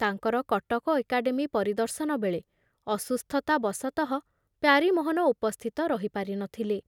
ତାଙ୍କର କଟକ ଏକାଡ଼େମୀ ପରିଦର୍ଶନବେଳେ ଅସୁସ୍ଥତା ବଶତଃ ପ୍ୟାରୀମୋହନ ଉପସ୍ଥିତ ରହି ପାରି ନଥିଲେ ।